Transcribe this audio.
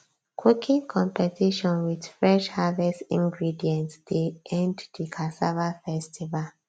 cooking competition with fresh harvest ingredient dey end the cassava festival